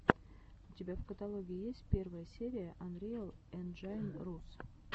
у тебя в каталоге есть первая серия анриэл энджайн рус